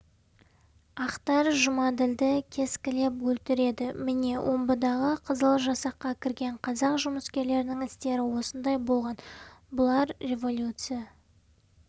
ақтар жұмаділді кескілеп өлтіреді міне омбыдағы қызыл жасаққа кірген қазақ жұмыскерлерінің істері осындай болған бұлар революция